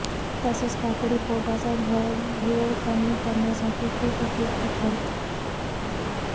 तसेच काकडी पोटाचा घेर कमी करण्यासाठी खूप उपयुक्त ठरते